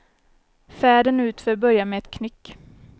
Färden utför börjar med ett knyck.